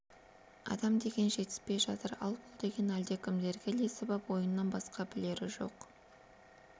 адам деген жетіспей жатыр ал бұл деген әлдекімдерге ілесіп ап ойыннан басқа білері жоқ